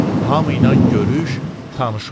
hamıyla görüş, tanış ol.